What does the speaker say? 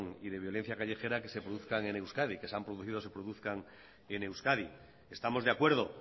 y de violencia callejera que se han producido y se produzcan en euskadi estamos de acuerdo